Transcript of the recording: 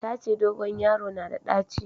Ta ce dogon yaro na da ɗaci